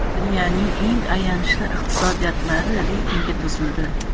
Dunyoning eng ayanchli iqtisodiyotlari reytingi tuzildi.